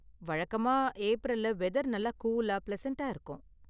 வழக்கமா, ஏப்ரல்ல வெதர் நல்லா கூலா, பிளசன்டா இருக்கும்.